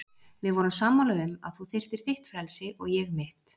Við vorum sammála um að þú þyrftir þitt frelsi og ég mitt.